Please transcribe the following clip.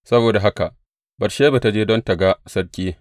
Saboda haka Batsheba ta je don tă ga sarki.